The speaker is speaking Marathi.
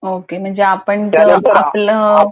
म्हणजे आपण जर आपलं